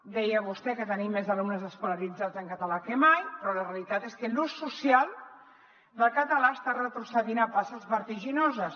deia vostè que tenim més alumnes escolaritzats en català que mai però la realitat és que l’ús social del català està retrocedint a passes vertiginoses